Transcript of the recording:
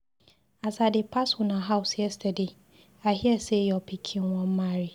As I dey pass una house yesterday, I hear say your pikin wan marry.